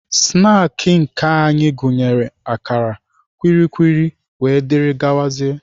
Snaakị nke anyị gụnyere akara, kwili kwili wdg.